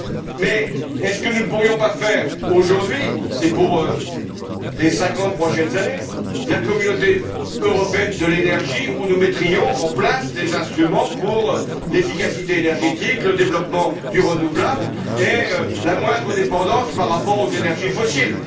Mais est ce que nous ne pourrions pas faire aujourd'hui et pour les cinquante prochaines années, la Communauté européenne de l'énergie, où nous mettrions en place les instruments pour l'efficacité énergétique, le développement du renouvelable et la moindre dépendance par rapport aux énergies fossiles?